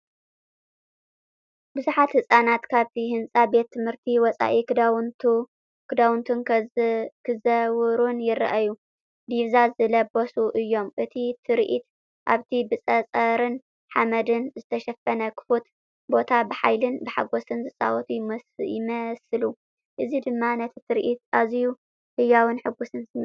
ብዙሓት ህጻናት ካብቲ ህንጻ ቤት ትምህርቲ ወጻኢ ክጻወቱን ክዘውሩን ይረኣዩ። ዲቪዛ ዝለበሱ እዮም፣ እቲ ትርኢት ኣብቲ ብጸጸርን ሓመድን ዝተሸፈነ ክፉት ቦታ ፣ ብሓይልን ብሓጎስን ዝጻወቱ ይመስሉ፣ እዚ ድማ ነቲ ትርኢት ኣዝዩ ህያውን ሕጉስን ስምዒት ይህቦ።